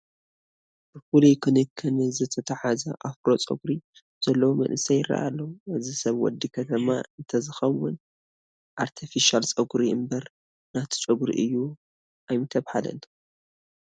ብፍሉይ ክንክን ዝተተሓዘ ኣፍሮ ጨጉሪ ዘለዎ መንእሰይ ይርአ ኣሎ፡፡ እዚ ሰብ ወዲ ከተማ እንተዝኸውን ኣርተፊሻለ ጨጉሪ እምበር ናቱ ጨጉሪ እዩ ኣይምተባህለን፡፡